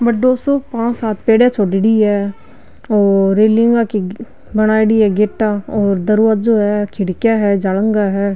बड़ो सो पांच सात पेडीया छोड़ेड़ी है और रेलिंग की बनाई री है गेटा और दरवाजो है और खिड़किया है जालांघा है।